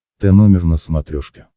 тномер на смотрешке